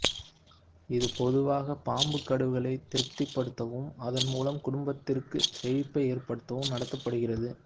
இது பொதுவாக பாம்பு கடவுள்களை திருப்திப்படுத்தவும் அதன் மூலம் குடும்பத்திற்கு செழிப்பை ஏற்படுத்தவும் நடத்தப்படுகிறது